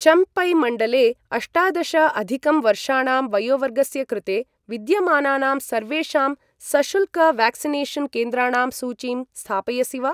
चम्पै मण्डले अष्टादश अधिकं वर्षाणां वयोवर्गस्य कृते विद्यमानानां सर्वेषां सशुल्क व्याक्सिनेषन् केन्द्राणां सूचीं स्थापयसि वा?